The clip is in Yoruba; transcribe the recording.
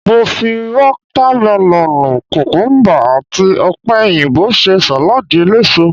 Mo fi watamelonu, kukumuba, àti opeyinbo ṣe saladi eléso.